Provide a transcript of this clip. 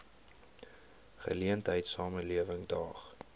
geleentheid samelewing daag